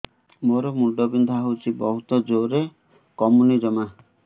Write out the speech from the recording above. ମୋର ମୁଣ୍ଡ ବିନ୍ଧା ହଉଛି ବହୁତ ଜୋରରେ କମୁନି ଜମା